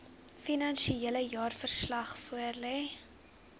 finansiële jaarverslag voorlê